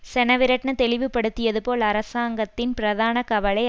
செனவிரட்ன தெளிவுபடுத்தியது போல் அரசாங்கத்தின் பிரதான கவலை